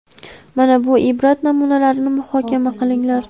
Mana bu ibrat namunalarini muhokama qilinglar:.